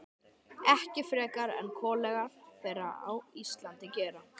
Ekki frekar en kollegar þeirra á Íslandi gera.